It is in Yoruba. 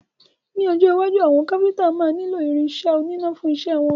Ní ọjọ́ iwájú, àwọn Káfíntà máa nílo irin isẹ́ oníná fún isẹ́ wọn.